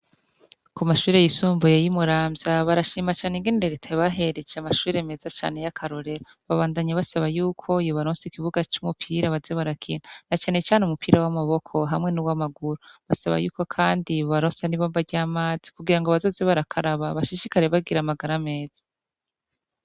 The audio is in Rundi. ku mashuri y'isumbuye y'i Muramvya barashima cane ingene reta yabahereje amashuri meza cane y'akarorero . Babandanye basaba y'uko yobaronsa ikibuga c' umupira baze barakina na cane cane umupira w'amaboko hamwe n'uw'amaguru. Basaba yuko kandi bobaronsa n'ibomba ry'amazi kugirango bazoze barakaraba bashishikare bagira amagara meza.